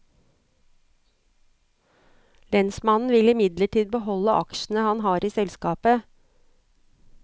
Lensmannen vil imidlertid beholde aksjene han har i selskapet.